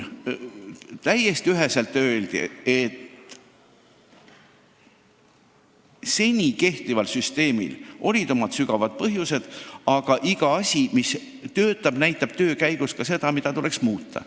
Täiesti üheselt väideti, et seni kehtival süsteemil on olnud omad kindlad põhjused, aga kui mingi asi töötab, siis selgub töö käigus tihti, et midagi tuleks muuta.